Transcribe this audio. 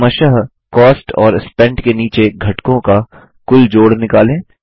अब क्रमशः कॉस्ट और स्पेंट के नीचे घटकों का कुल जोड़ निकालें